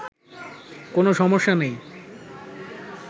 কোনো সমস্যা নেই